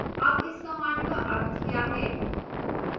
अब इस command का अर्थ क्या है